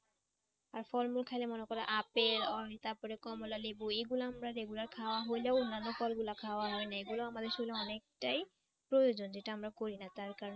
আর ফলমূল খাইলে মনে করো আপেল আর তারপরে কমলালেবু এগুলো আমরা regular খাওয়া হইলেও অন্য ফলগুলা খাওয়া হয় না এগুলো আমাদের শরীরে অনেকটাই প্রয়োজন যেটা আমরা করি না তার কারণে